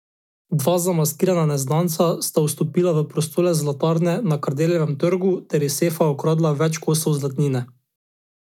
Dva zamaskirana neznanca sta vstopila v prostore zlatarne na Kardeljevem trgu ter iz sefa ukradla več kosov zlatnine.